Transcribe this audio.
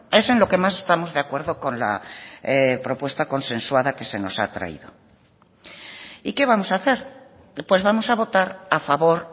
es en lo que más estamos de acuerdo con la propuesta consensuada que se nos ha traído y qué vamos a hacer pues vamos a votar a favor